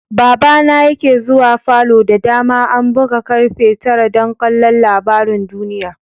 Baba na yake zuwa falo da dama an buga karfe tara dan ƙalla labarin duniyya.